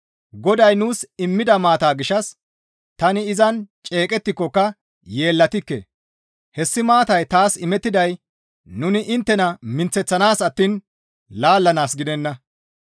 Goday nuus immida maataa gishshas tani izan ceeqqikokka yeellatikke; hessi maatay taas imettiday nuni inttena minththanaas attiin laallanaas gidenna.